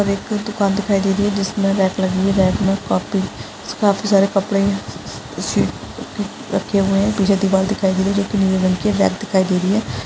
और एक दुकान दिखाई दे रही है जिसमें रैक लगी है रैक में कॉपी काफी सारे कपड़े हैं रखे हुए हैं पीछे दीवाल दिखाई दे रही है जो कि नीले रंग की है बैग दिखाई दे रही है।